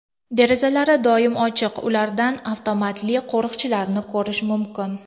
Derazalari doim ochiq, ulardan avtomatli qo‘riqchilarni ko‘rish mumkin.